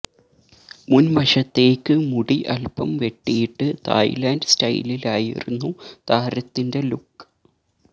മുൻ വശത്തേയ്ക്ക് മുടി അൽപം വെട്ടിയിട്ട് തായിലൻഡ് സ്റ്റൈലിലായിരുന്നു താരത്തിന്റെ ലുക്ക്